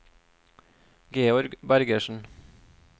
Georg Bergersen